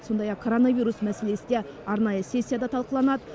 сондай ақ коронавирус мәселесі де арнайы сессияда талқыланады